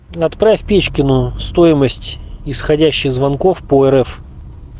отправь печкину стоимость исходящих звонков по рф